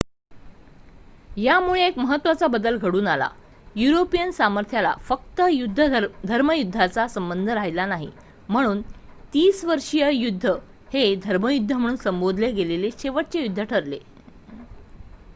यामुळे एक महत्त्वाचा बदल घडून आला युरोपियन सामर्थ्याला फक्त धर्मयुद्धांचा संबंध राहिला नाही म्हणून तीसवर्षीय युद्ध हे धर्मयुद्ध म्हणून संबोधले गेलेले शेवटचे युद्ध ठरले